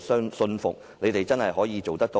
信服政府真的能做到呢？